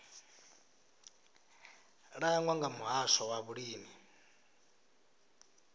langwa nga muhasho wa vhulimi